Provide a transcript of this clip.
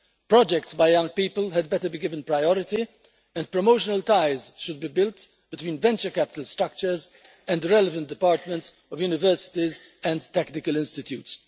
Projects by young people had better be given priority and promotional ties should be built between venture capital structures and relevant departments of universities and technical institutes.